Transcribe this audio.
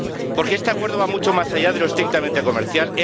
Porque este Acuerdo va mucho más allá de lo estrictamente comercial.